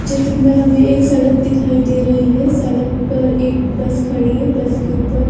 चित्र में हमें एक सड़क दिखाई दे रही है। सड़क पर एक बस खड़ी है बस के ऊपर--